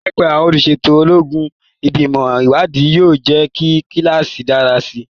Láìpẹ́, àwọn olùṣètò ọlọ́gbọ́n, Ìgbìmọ̀ Ìwádìí, yóò jẹ́ kí kíláàsì dára sí i.